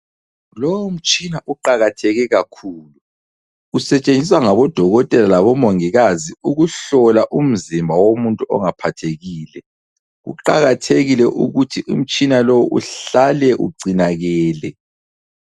Lomtshina uqakatheke kakhulu. Usetshenziswa ngabodokotela labo mongikazi ukuhlola umzimba womuntu ongaphathekile. Uqakathekile ukuthi umtshina lowu uhlale ugcinakele.